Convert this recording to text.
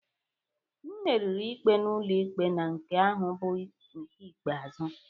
M meriri ikpe ụlọikpe na nke ahụ bụ nke ikpeazụ